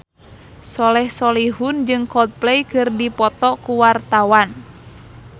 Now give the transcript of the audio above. Soleh Solihun jeung Coldplay keur dipoto ku wartawan